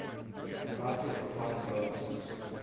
united empire loyalists